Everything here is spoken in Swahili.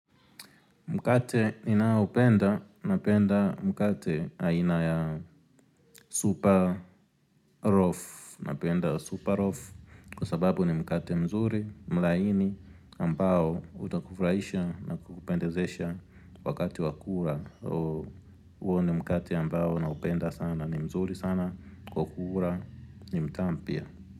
Mkate ninao upenda, napenda mkate aina ya super loaf, napenda ya super loaf, kwa sababu ni mkate mzuri, mlaini, ambao utakufurahisha na kupendezesha wakati wa kula. So, huo ni mkate ambao naupenda sana, ni mzuri sana, kwa kula, ni mtamu pia.